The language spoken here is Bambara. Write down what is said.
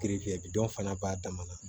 bi dɔ fana b'a dama na